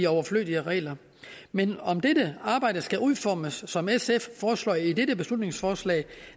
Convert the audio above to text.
overflødige regler men om dette arbejde skal udformes som sf foreslår i dette beslutningsforslag